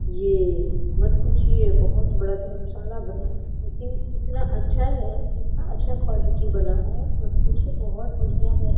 ये मत पूछिए बहुत बड़ा धर्मशाला बना है लेकिन इतना अच्छा है इतना अच्छा क्वालिटी बना है मत पूछिए कुछ बहुत बढ़िया--